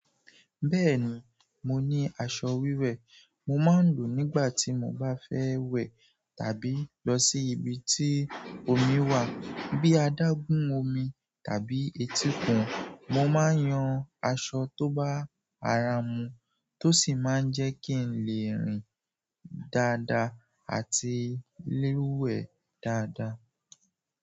Bẹ́ẹ̀ni, mo ní aṣọ wíwẹ̀. Mo máa ń lò ó nígbà tí mo bá fẹ́ wẹ̀ tàbí lọ sí ibi tí omi wà bíi adágún omi tàbí etíkun. Mo máa ń yan aṣọ tó bá ara mú tó sì máa ń jẹ́ kí n lè rìn dáadáa àti léwẹ̀ dáadáa.